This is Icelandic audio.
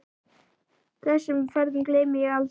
Þessum ferðum gleymi ég aldrei.